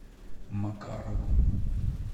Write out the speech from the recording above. макаровым